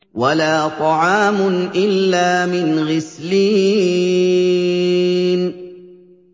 وَلَا طَعَامٌ إِلَّا مِنْ غِسْلِينٍ